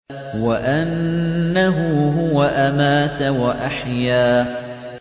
وَأَنَّهُ هُوَ أَمَاتَ وَأَحْيَا